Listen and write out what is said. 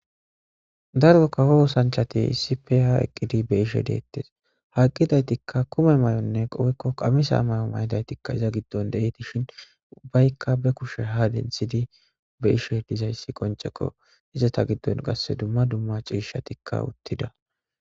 Dargo kahoo sanchati issi peya eqqidi be ishe deettes haqidaytikka kume may'onne qobekko qamisa may'o may'idaytikka iza giddon de'i tishin ubbaykka be kushe ha denthidi be ishe dizayssi qoncekko iza ta giddon qasse dumma dumma ciishatikka uttida.